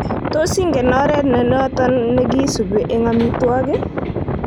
Tos igen oret nenoton nekisibi eng omitwo'kik?